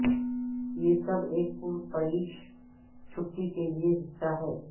یہ سب ایک پرتعیش چھٹی کے لئے حصہ ہے